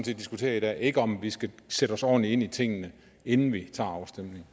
vi diskuterer i dag ikke om vi skal sætte os ordentligt ind i tingene inden vi tager afstemningen